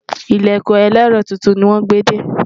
ilẹkùn elero túntùn ní wón gbé dé